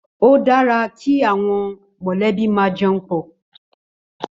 Ó dàrá ki áwòn mòlèbí mà jèún pò